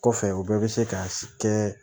Kɔfɛ u bɛɛ bɛ se ka kɛ